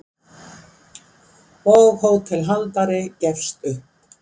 og hótelhaldari gefst upp.